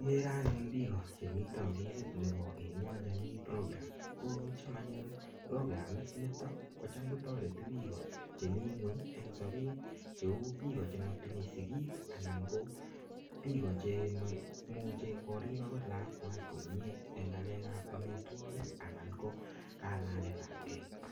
Ikere anyun biko chemitei ofisit nebo Inua Jamii Program. Ko cham anyun programit nitok, kocham kotoreti biiko chemii ng'uny eng sapet. Cheu biiko che, atinye sigik, anan biiko chemaimuche korip angot lakwach komyee eng ng'alekap amitwogik anan ko kalagetapkei.